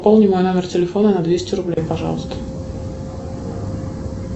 пополни мой номер телефона на двести рублей пожалуйста